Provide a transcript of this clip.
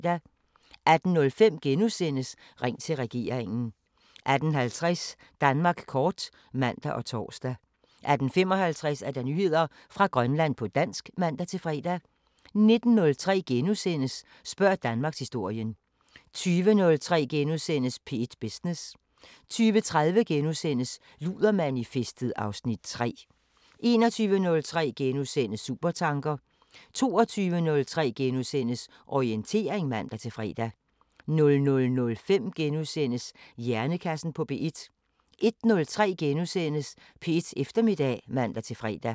18:05: Ring til regeringen * 18:50: Danmark kort (man og tor) 18:55: Nyheder fra Grønland på dansk (man-fre) 19:03: Spørg Danmarkshistorien * 20:03: P1 Business * 20:30: Ludermanifestet (Afs. 3)* 21:03: Supertanker * 22:03: Orientering *(man-fre) 00:05: Hjernekassen på P1 * 01:03: P1 Eftermiddag *(man-fre)